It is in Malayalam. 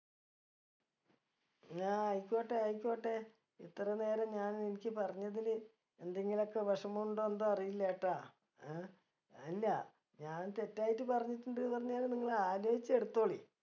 എന്നാ ആയിക്കോട്ടെ ആയിക്കോട്ടെ ഇത്ര നേരം ഞാൻ നിനക്ക് പറഞ്ഞതില് എന്തെങ്കിലൊക്കെ വിഷമുണ്ടോ എന്തോ അറീലട്ടാ അഹ് അല്ലാ ഞാൻ തെറ്റായിട്ട് പറഞ്ഞിട്ടുണ്ട് പറഞ്ഞാല് നിങ്ങള് അലോയ്ച്ച് എടുത്തോളി